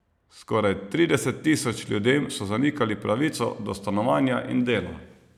Skoraj trideset tisoč ljudem so zanikali pravico do stanovanja in dela.